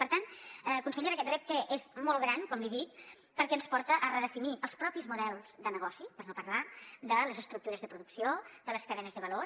per tant consellera aquest repte és molt gran com li dic perquè ens porta a redefinir els mateixos models de negoci per no parlar de les estructures de producció de les cadenes de valor